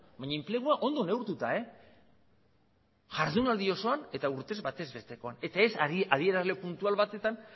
baina enplegua ondo neurtuta jardunaldi osoan eta urtez bataz bestekoan eta ez adierazle puntual batetan